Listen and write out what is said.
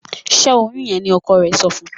Ṣe oyún yén ní ọkọ rẹ sọfún